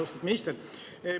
Austatud minister!